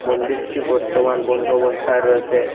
মন্দিরটি বর্তমান বন্দ অবস্থায় রয়েসে।